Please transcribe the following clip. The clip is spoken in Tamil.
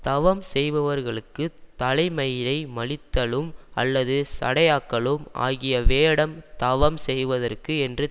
தவம் செய்பவர்களுக்குத் தலைமயிரை மழித்தலும் அல்லது சடையாக்கலும் ஆகிய வேடம் தவம் செய்வதற்கு என்று